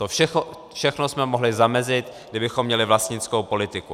To všechno jsme mohli zamezit, kdybychom měli vlastnickou politiku.